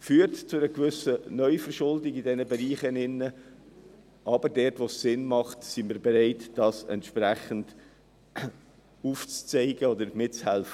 Dies führt zu einer gewissen Neuverschuldung in diesen Bereichen, aber wo es sinnvoll ist, sind wir bereit, entsprechend mitzuhelfen.